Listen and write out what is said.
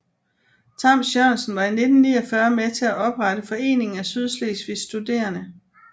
Tams Jørgensen var i 1949 med til at oprette Foreningen af Sydslesvigs Studerende